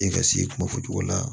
E ka se kuma fɔ cogo la